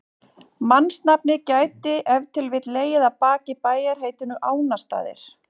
Mannsnafnið gæti ef til vill legið að baki bæjarheitinu Ánastaðir.